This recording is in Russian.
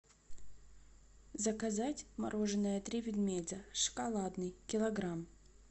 заказать мороженое три медведя шоколадный килограмм